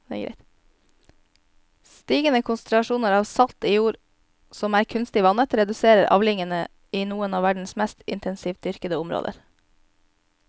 Stigende konsentrasjoner av salt i jord som er kunstig vannet reduserer avlingene i noen av verdens mest intensivt dyrkede områder.